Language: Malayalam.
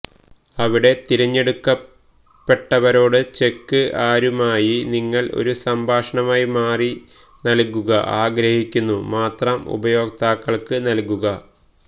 അവിടെ തിരഞ്ഞെടുക്കപ്പെട്ടവരോട് ചെക്ക് ആരുമായി നിങ്ങൾ ഒരു സംഭാഷണമായി മാറി നൽകുക ആഗ്രഹിക്കുന്നു മാത്രം ഉപയോക്താക്കൾക്ക് നൽകുക